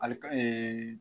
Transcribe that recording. Ali ka eee